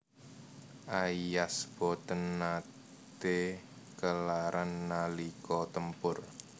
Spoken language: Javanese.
Aias boten naté kelaran nalika tempur